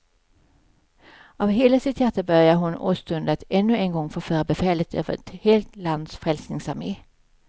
Av hela sitt hjärta började hon åstunda att ännu en gång få föra befälet över ett helt lands frälsningsarmé.